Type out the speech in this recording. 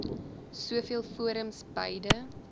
soveel forums beide